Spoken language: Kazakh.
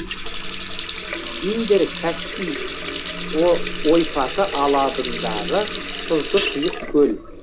индер каспий ойпаты алабындағы тұзды тұйық көл